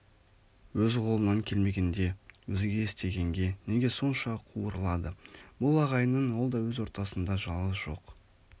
өз қолынан келмегендк өзге істегенге неге сонша қуырылады бұл ағайынның ол да өз ортасында жалғыз жоқ